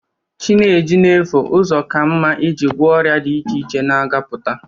Chi na-eji na-efo, ụzọ ka mma i ji gwọ ọrịa dị iche iche ga na-apụta.